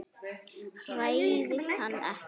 Hræðist hann ekki.